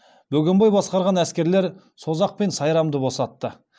бөгенбай басқарған әскерлер созақ пен сайрамды босатты